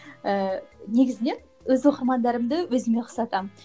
ііі негізінен өз оқырмандарымды өзіме ұқсатамын